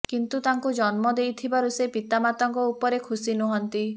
କିନ୍ତୁ ତାଙ୍କୁ ଜନ୍ମ ଦେଇଥିବାରୁ ସେ ପିତାମାତାଙ୍କ ଉପରେ ଖୁସି ନୁହନ୍ତି